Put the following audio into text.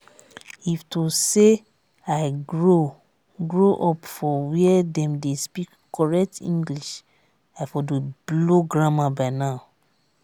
if to say i grow grow up for where dem dey speak correct english i for dey blow grammar by now